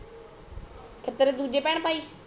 ਫੇਰ ਦੂਜੇ ਭੈਣ ਭਾਈ